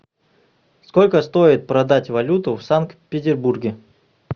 сколько стоит продать валюту в санкт петербурге